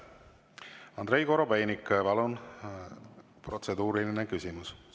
Andrei Korobeinik, palun, protseduuriline küsimus!